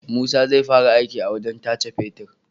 Musa zai fara aiki a wajan tace fetir